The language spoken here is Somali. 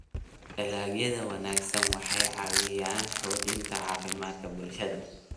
Dalagyada wanaagsani waxay caawiyaan xoojinta caafimaadka bulshada.